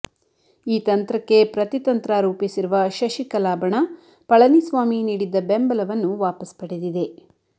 ಈ ತಂತ್ರಕ್ಕೆ ಪ್ರತಿತಂತ್ರ ರೂಪಿಸಿರುವ ಶಶಿಕಲಾ ಬಣ ಪಳನಿಸ್ವಾಮಿ ನೀಡಿದ್ದ ಬೆಂಬಲವನ್ನು ವಾಪಸ್ ಪಡೆದಿದೆ